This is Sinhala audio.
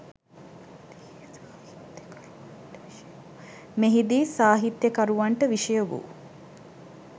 මෙහි දී සාහිත්‍යකරුවන්ට විෂය වූ